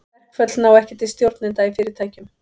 Verkföll ná ekki til stjórnenda í fyrirtækjum.